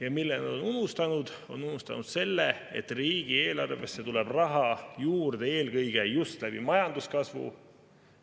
Ja mille nad on unustanud, on see, et riigieelarvesse tuleb raha juurde eelkõige majanduskasvu kaudu.